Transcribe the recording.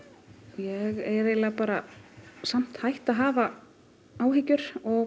ég er eiginlega samt hætt að hafa áhyggjur og